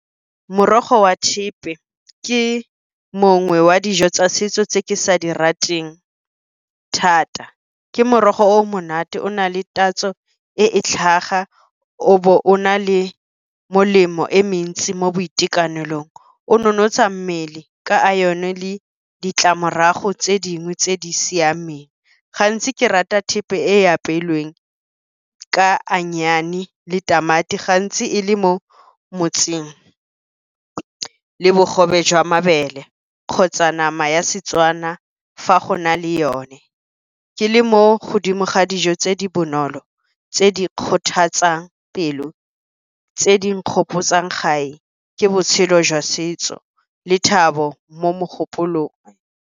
Morogo wa thepe ke mongwe wa dijo tsa setso tse ke sa di rateng thata. Ke morogo o o monate o na le tatso e e tlhaga o bo o na le molemo e mentsi mo boitekanelong. O nonotsha mmele ka iron-o le ditlamorago tse dingwe tse di siameng. Gantsi ke rata thepe e apeilweng ka onion le tamati gantsi e le mo motseng le bogobe jwa mabele kgotsa nama ya Setswana fa go na le yone. Ke le mo godimo ga dijo tse di bonolo, tse di kgothatsang pelo tse di nkgopotsang gae ke botshelo jwa setso le thabo mo mogopolong.